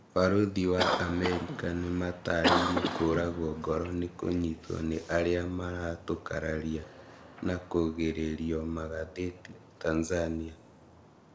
Barũthi wa Amerika nĩmatarĩirie kũragwo ngoro nĩkunyitwo nĩ arĩa maratũkararia na kũgĩrĩrio magathĩti Tanzania